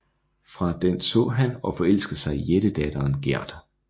Fra den så han og forelskede sig i jættedatteren Gerd